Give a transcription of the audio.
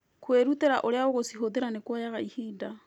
Kũĩruta ũrĩa ũgũcihũthĩra nĩ kũoyaga ihinda.